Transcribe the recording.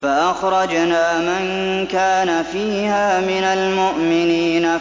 فَأَخْرَجْنَا مَن كَانَ فِيهَا مِنَ الْمُؤْمِنِينَ